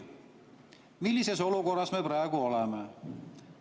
Millises olukorras me praegu oleme?